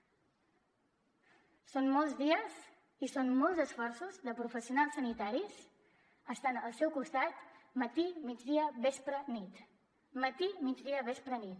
són molts dies i són molts esforços de professionals sanitaris estant al seu costat matí migdia vespre nit matí migdia vespre nit